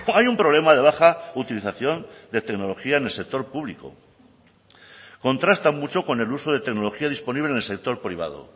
hay un problema de baja utilización de tecnología en el sector público contrasta mucho con el uso de tecnología disponible en el sector privado